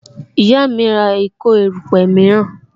Ìyá mi ń ra ìkó erupe miran